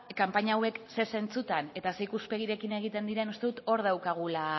kanpaina hauek zer zentzutan eta ikuspegiarekin egiten diren uste dut hor daukagula